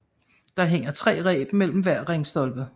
Der hænger tre reb mellem hver ringstolpe